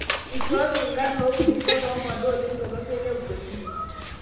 "ishooki enkarn lopurisho lomoda oleng tolosho le Ubelgiji"